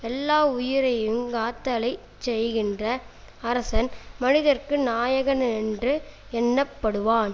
எல்லாவுயிரையுங் காத்தலைச் செய்கின்ற அரசன் மனிதர்க்கு நாயகனென்று எண்ணப்படுவான்